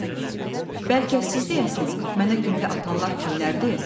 Adəm: Bəlkə siz deyəsiniz, mənə güllə atanlar kimlərdir?